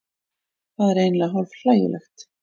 Það er eiginlega hálf hlægilegt